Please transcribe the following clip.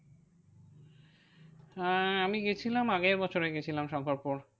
হ্যাঁ আমি গিয়েছিলাম আগের বছরে গিয়েছিলাম শঙ্করপুর।